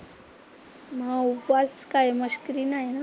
मग उपवास काय, मस्करी नाही ना.